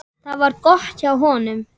Það var gott hjá honum.